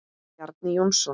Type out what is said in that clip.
Bjarni Jónsson